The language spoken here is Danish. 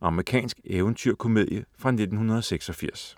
Amerikansk eventyr-komedie fra 1986